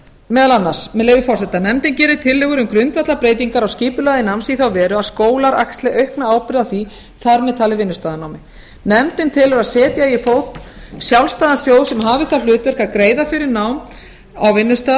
meðal annars leyfi forseta nefndin gerir tillögur um grundvallarbreytingar á skipulagi náms í þá veru að skólar axli aukna ábyrgð á því þar með talið vinnustaðanámi nefndin telur að setja eigi á fót sjálfstæðan sjóð sem hafi það hlutverk að greiða fyrir nám á vinnustað